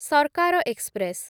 Sarkar express